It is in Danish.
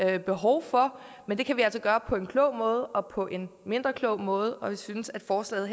vi behov for men det kan vi altså gøre på en klog måde og på en mindre klog måde og vi synes at forslaget